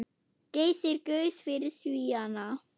Geysir gaus fyrir Svíana.